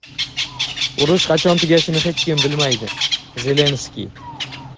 Urush qachon tugashini hech kim bilmaydi – Zelenskiy.